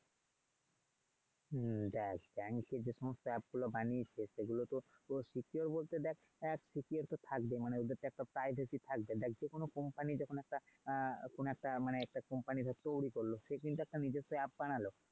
হম দেখ। bank এর যে সমস্ত app গুলো বানিয়েছে সেগুলো তো তোর secure বলতে দেখ app তো secure তো থাকবে ওদের তো একটা privacy থাকবেই। দেখ যেকোনো company যখন একটা কোনও একটা মানে company তৈরী করলো সে কিন্তু নিজস্ব একটা app বানালো।